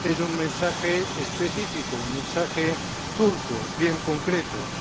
Es un mensaje específico, un mensaje turco bien concreto,